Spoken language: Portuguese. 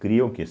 Cria o que?